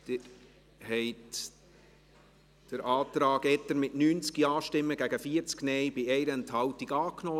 Sie haben den Antrag Etter mit 90 Ja- gegen 40 Nein-Stimmen bei 1 Enthaltung angenommen.